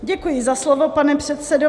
Děkuji za slovo, pane předsedo.